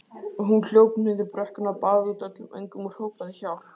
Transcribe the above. Hún hljóp niður brekkuna, baðaði út öllum öngum og hrópaði: Hjálp!